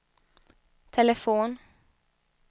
telefon